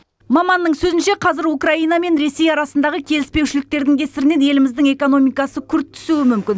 маманның сөзінше қазір украина мен ресей арасындағы келіспеушіліктердің кесірінен еліміздің экономикасы күрт түсуі мүмкін